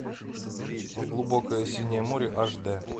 глубокое синее море аш дэ